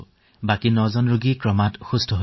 আৰু বাকী ৯টা পৰিঘটনা তেওঁলোকো এতিয়া সুস্থিৰে আছে